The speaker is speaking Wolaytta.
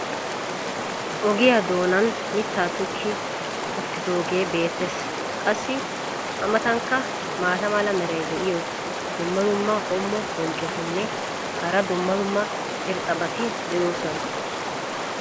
ogiyaa doonan mitaa tokki uttidoogee beetees. qassi a matankka maata mala meray diyo dumma dumma qommo bonccotinne hara dumma dumma irxxabati de'oosona.